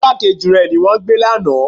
Ìgbákejì rẹ ni wọ́n gbé lánàá.